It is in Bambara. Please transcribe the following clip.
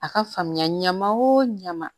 A ka faamuya ɲama o ɲama